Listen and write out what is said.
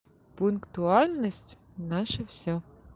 пунктуальность наше всё